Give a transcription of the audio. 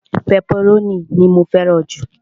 pẹpẹrónì ni mó fẹràn ju